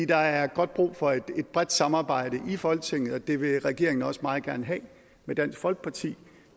der er godt brug for et bredt samarbejde i folketinget og det vil regeringen også meget gerne have med dansk folkeparti